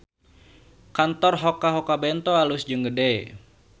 Kantor Hoka Hoka Bento alus jeung gede